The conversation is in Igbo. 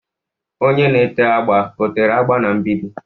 Onye na-ete agba etere agba n'mgbidi.